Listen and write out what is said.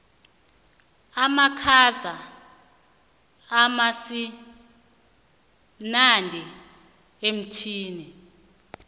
amakhaza akasimnandi emtwini